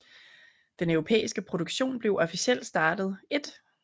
Den europæiske produktion blev officielt startet 1